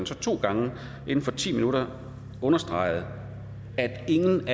så to gange inden for ti minutter har understreget at ingen